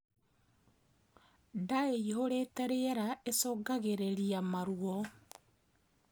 Ndaa iihurite rĩera icungafgirirĩa maruo